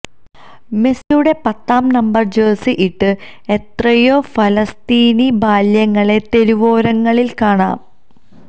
മെസിയുടെ പത്താം നമ്പര് ജഴ്സിയിട്ട് എത്രയോ ഫലസ്തീനി ബാല്യങ്ങളെ തെരുവോരങ്ങളില് കാണാം